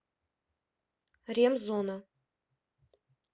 ремзона